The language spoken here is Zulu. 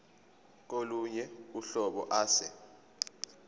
kolunye uhlobo ase